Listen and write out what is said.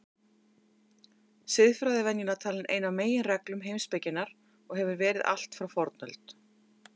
Siðfræði er venjulega talin ein af megingreinum heimspekinnar og hefur verið allt frá fornöld.